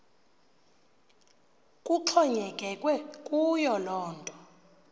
kuxhonyekekwe kuyo yinto